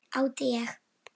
Átti ég.